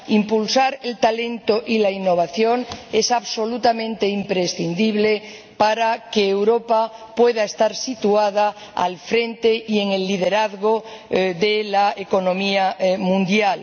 Impulsar el talento y la innovación es absolutamente imprescindible para que Europa pueda estar situada al frente y ejerza el liderazgo de la economía mundial.